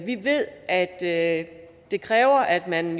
vi ved at at det kræver at man